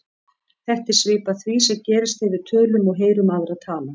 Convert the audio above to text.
Þetta er svipað því sem gerist þegar við tölum og heyrum aðra tala.